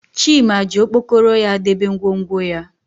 Chima ji okpokoro ya debe ngwongwo ya